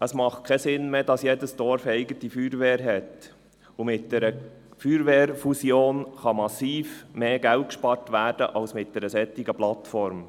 Es macht keinen Sinn mehr, wenn jedes Dorf eine eigene Feuerwehr hat; und mit einer Feuerwehrfusion kann massiv mehr Geld gespart werden als mit einer solchen Plattform.